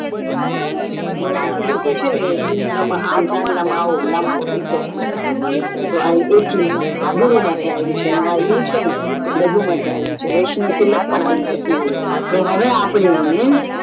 મારાથી લોકો છેને એ ચિન્હ માં અમ ચાંદલા અમ આવો લાંબો લીટો કરે છે તો એ આ ચિન્હ, ગુરુ માટે આવ્યું છે અને અ યુ છેને એ એ લઘુ માટે આવ્યું છે વૈષ્ણવ તિલક પણ આવું થતું હોય છે તો હવે અપડે એને